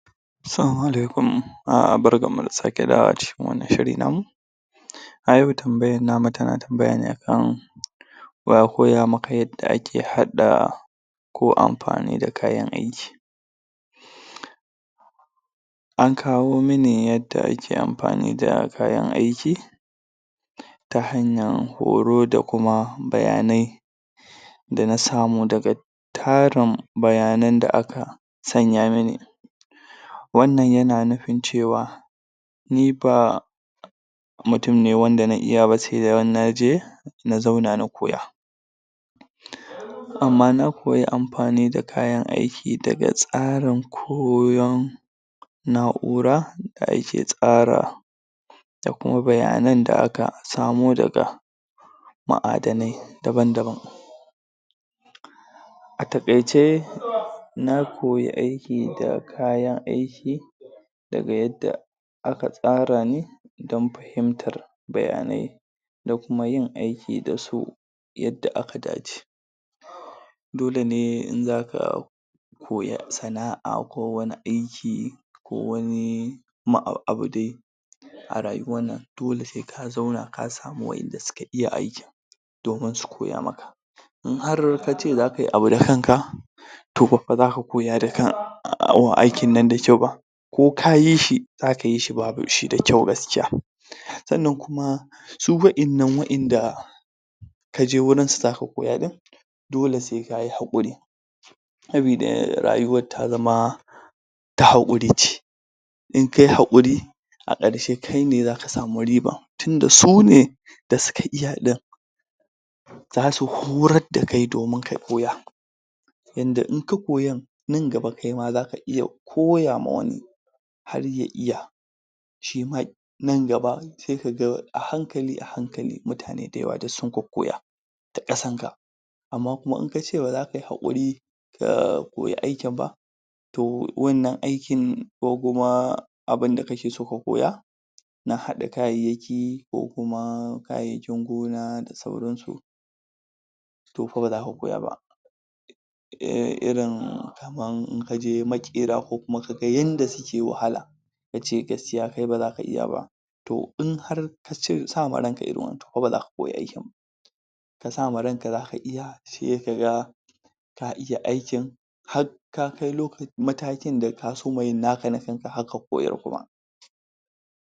Assalamu Alaikum. Barkan mu da sake dawowa cikin wannan shiri namu a yau tambayan mu tana tambaya ne a kan wa ya koya maka yadda ake haɗa ko amfani da kayan aiki an kawo mini yadda ake amfani da kayan aiki ta hanyan horo da kuma bayanai da na samu daga tarin bayanan da aka sanya mini wannan yana nufin cewa ni ba mutum ne wanda na iya na zauna na koya amma na koyi amfani da kayan aiki daga tsarin koyon na'ura da ake tsara da kuma bayanan da aka samo daga ma'adanai daban daban a taƙaice na koyi aiki da kayan aiki daga yadda aka tsara ni don fahimtar bayanai da kuma yin aiki da su yadda aka dace dole ne in zaka koya sana'a ko wani aiki ko wani abu dai a rayuwan nan dole sai ka zauna ka samu wanda suka iya aikin domin su koya maka in har kace zaka yi abu da kanka to ba fa zaka koya aikin nan da kyau ba ko ka yi shi zaka yi shi ba shi da kyau gaskiya sannan kuma su wa'innan wa'inda kaje wurin su zaka koya ɗin dole sai kayi haƙuri sabida rayuwan ta zama ta haƙuri ce in kayi haƙuri a ƙarshe kai ne zaka samu riba da suka iya ɗin zasu horar da kai domin ka koya yanda in ka koyan nan gaba kaima zaka iya koya ma wani har ya iya Shima nan gaba sai ka ga a hankali a hankali mutane dayawa duk sun kokkoya ta ƙasan ka amma kuma in kace baza kayi haƙuri ka koyi aikin ba to wannan aikni ko kuma abunda kake so ka koya na haɗa kayayyaki ko kuma kayayyakin gona da sauransu to fa baza ka koya ba irin kaman in kaje maƙera ko kuma kaga yanda suke wahala kace gaskiya kai baza ka iya ba to in har ka sa ma ranka irin wannan to fa baza ka koyi aikin na ka sa ma ranka zaka iya sai ka ga ka iya aikin ka kai matakin da ka soma yin naka na kanka har ka koyar ma